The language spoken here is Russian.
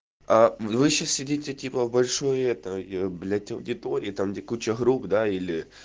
а вы сейчас сидите типа в большой этой блять аудитории там где куча групп да или